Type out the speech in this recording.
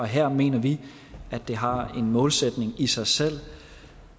her mener vi at det har en målsætning i sig selv